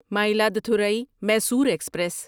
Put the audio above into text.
Mayiladuthurai Mysore express